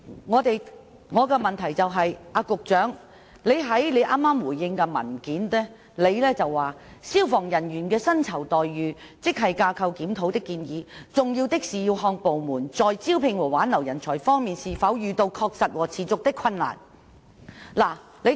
我的補充質詢是，局長剛才在答覆中指出，"關於消防處職系架構檢討的建議，重要的是要看部門在招聘和挽留人才方面是否遇到確實和持續的困難"。